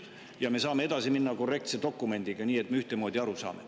Ja me saame edasi minna korrektse dokumendiga, nii et me ühtemoodi aru saame.